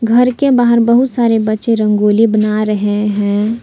घर के बाहर बहुत सारे बच्चे रंगोली बना रहे हैं।